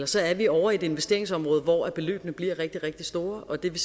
så er vi ovre i et investeringsområde hvor beløbene bliver rigtig rigtig store og det